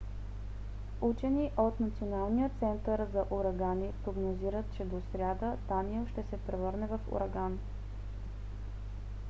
учени от националния център за урагани прогнозират че до сряда даниел ще се превърне в ураган